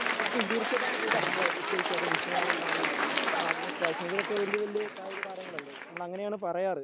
പറ്റും തീർച്ചയായിട്ടും അങ്ങനെ കൂട്ടാം. നമ്മളെ വിശ്വനാഥൻ ആനന്ദ്, മാഗ്നസ് കാൾസൺ ഇവരൊക്കെ വല്യ വല്യ കായിക താരങ്ങൾ അല്ലേ? നമ്മളങ്ങനെയാണ് പറയാറ്.